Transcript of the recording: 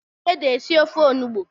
E ji ede esi ofe onugbo